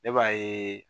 Ne b'a ye